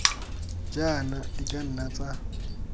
jaana di ka nna tsa